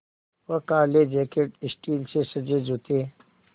वह काले jacket steel से सजे जूते